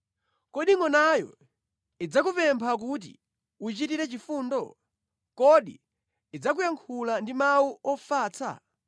Kodi ngʼonayo idzakupempha kuti uyichitire chifundo? Kodi idzakuyankhula ndi mawu ofatsa?